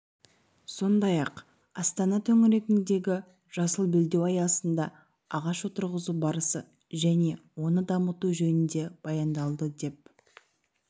сондай-ақ астана төңірегіндегі жасыл белдеу аясында ағаш отырғызу барысы және оны дамыту жөнінде баяндалды деп